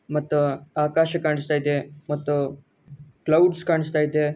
ಮತ್ತು ಆಕಾಶ ಕಾಣಿಸ್ತಾ ಇದೆ ಮತ್ತು ಕ್ಲಾವಡ್ಸ ಕಾಣಿಸ್ತಾ ಇದೆ.